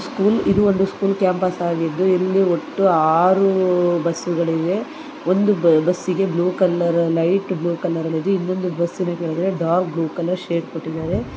ಇದೊಂದು school campus ಆಗಿದ್ದು ಇಲ್ಲಿ ಒಟ್ಟು ಆರು ಬಸ್ಗಳಿವೆ ಒಂದು ಬಸ್ಸಿಗೆ ಬ್ಲೂ ಕಲರ್ ಲೈಟ್ ಮತ್ತು ಇನ್ನೊಂದು ಬಸ್ಸಿಗೆ ಡಾರ್ಕ್ ಬ್ಲೂ ಕಲರ್ ಶೇಡ್ ಅನ್ನು ಕೊಟ್ಟಿದ್ದಾರೆ.